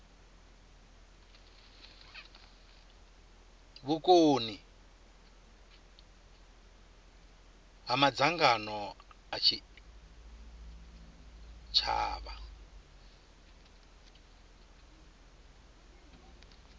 vhukoni ha madzangano a tshitshavha